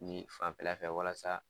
Nin fanfɛla fɛ walasa